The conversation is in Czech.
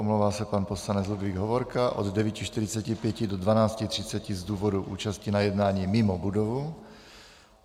Omlouvá se pan poslanec Ludvík Hovorka od 9.45 do 12.30 z důvodu účasti na jednání mimo budovu.